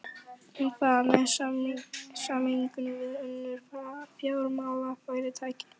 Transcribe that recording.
En hvað með sameiningu við önnur fjármálafyrirtæki?